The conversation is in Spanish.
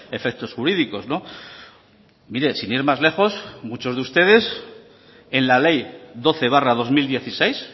efectos jurídicos mire sin ir más lejos muchos de ustedes en la ley doce barra dos mil dieciséis